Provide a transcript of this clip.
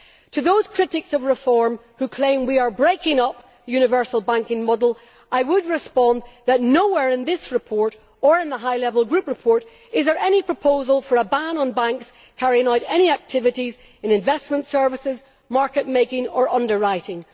To those critics of reform who claim we are breaking up the universal banking model I would respond that nowhere in this report or in the High Level Group report is there any proposal for a ban on banks carrying out any activities in investment services, market making or underwriting.